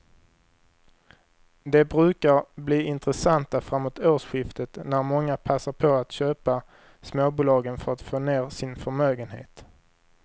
De brukar bli intressanta framåt årsskiftet när många passar på att köpa småbolagen för att få ner sin förmögenhet.